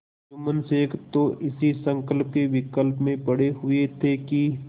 जुम्मन शेख तो इसी संकल्पविकल्प में पड़े हुए थे कि